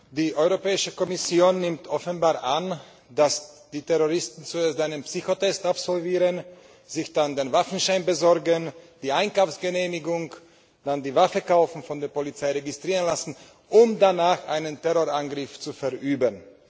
Frau Präsidentin! Die Europäische Kommission nimmt offenbar an, dass die Terroristen zuerst einen Psychotest absolvieren, sich dann den Waffenschein besorgen, die Einkaufsgenehmigung, dann die Waffe kaufen und von der Polizei registrieren lassen, um danach einen Terrorangriff zu verüben.